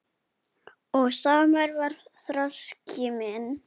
Og samur var þroski minn.